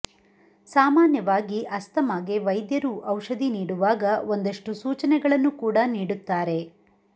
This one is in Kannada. ಸಾಮಾನ್ಯವಾಗಿ ಅಸ್ತಮಾಗೆ ವೈದ್ಯರು ಔಷಧಿ ನೀಡುವಾಗ ಒಂದಷ್ಟು ಸೂಚನೆಗಳನ್ನು ಕೂಡ ನೀಡುತ್ತಾರೆ